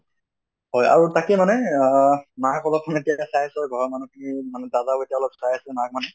আৰু তাকে মানে আহ মাক অলপ হেতে চাই আছে ঘৰৰ মানুহ খিনি মানে দাদা এতিয়া অলপ চাই আছে মাক মানে